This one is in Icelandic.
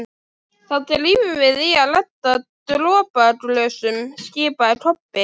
Þá drífum við í að redda dropaglösum, skipaði Kobbi.